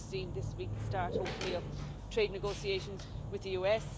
We've just seen this week the start, hopefully, of trade negotiations with the US